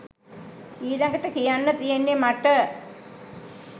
ඊළගට කියන්න තියෙන්නෙ මට